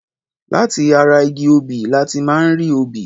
Lati ara igi obì láti máa ń rí obì